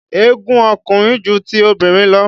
Egun ọkùnrin ju ti obìnrin lọ.